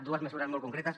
dues mesures molt concretes